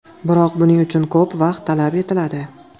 Biroq buning uchun ko‘p vaqt talab etiladi.